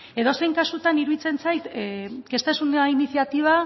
edozein kasutan iruditzen zait que esta es una iniciativa